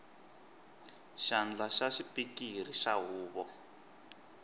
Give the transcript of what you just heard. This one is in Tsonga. xandla xa xipikara xa huvo